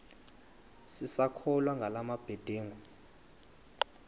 sisakholwa ngala mabedengu